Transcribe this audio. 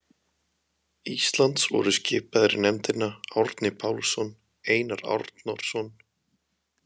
Íslands voru skipaðir í nefndina Árni Pálsson, Einar Arnórsson, Halldór